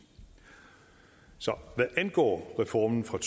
så hvad angår reformen fra